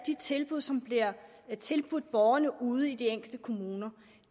de tilbud som bliver tilbudt borgerne ude i de enkelte kommuner